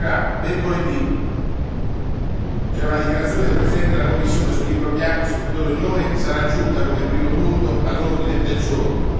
Dicevamo, mercoledì c'è una dichiarazione del Presidente della Commissione sul Libro bianco sul futuro dell'Unione, sarà aggiunta come primo punto all'ordine del giorno.